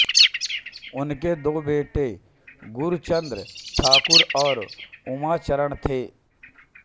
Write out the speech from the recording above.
उनके दो बेटे गुरुचाँद ठाकुर और उमाचरण थे